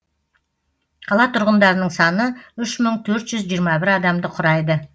қала тұрғындарының саны үш мың төрт жүз жиырма бір адамды құрайды